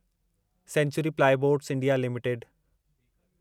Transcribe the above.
sanctuary plyboards India limited